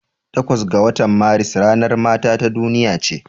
Takwas ga watan Maris ranar mata ta duniya ce.